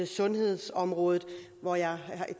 sundhedsområdet og jeg har